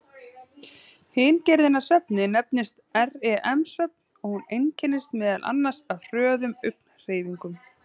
Hin gerðin af svefni nefnist REM-svefn og hún einkennist meðal annars af hröðum augnhreyfingum.